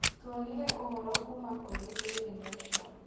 Tũonire ũhoro kuuma kũrĩ Daily Nation